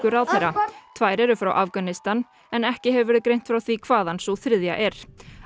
ráðherra tvær eru frá Afganistan ekki hefur verið greint frá því hvaðan sú þriðja er